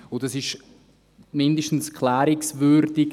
Das ist mindestens klärungswürdig.